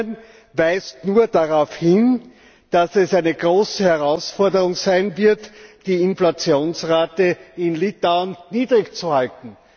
Sie weist nur darauf hin, dass es eine große Herausforderung sein wird, die Inflationsrate in Litauen niedrig zu halten.